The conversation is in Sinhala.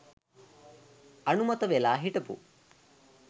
අනුමත වෙලා හිටපු